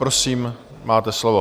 Prosím, máte slovo.